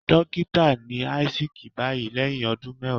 Dókítà ni Isaac báyìí lẹ́hìn ọdún mẹwàá.